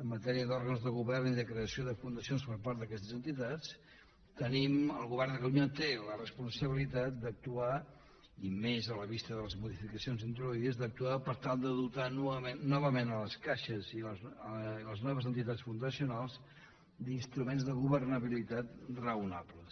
en matèria d’òrgans de govern i de creació de fundacions per part d’aquestes entitats el govern de catalunya té la responsabilitat i més a la vista de les modificacions introduïdes d’actuar per tal de dotar novament les caixes i les noves entitats fundacionals d’instruments de governabilitat raonables